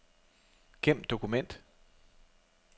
Gem dokument.